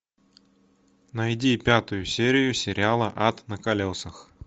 найди пятую серию сериала ад на колесах